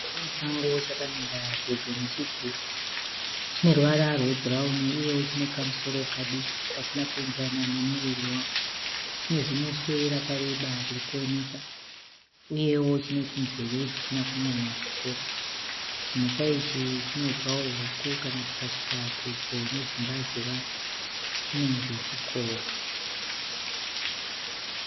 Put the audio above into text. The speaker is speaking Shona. Chimhuka chemusango chakamira pedyo nechidziro. Chine ruvara rwebhurauni uyewo chine kamusoro kadiki kasina kuenderana nemuviri wako. Chine zimuswe rakareba riri kuoneka uyewo chine tunzeve tusina kunyanya kukura. Chimhuka ichi chinodyawo huku kana chikasvika pedyo nedzimba dzevanhu. Chinonzi Chikofu.